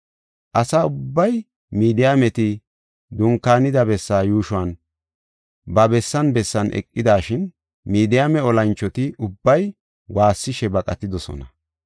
Asa ubbay Midiyaameti dunkaanida bessaa yuushon ba bessan bessan eqidashin, Midiyaame olanchoti ubbay waassishe baqatidosona.